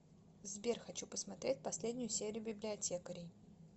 сбер хочу посмотреть последнюю серию библиотекарей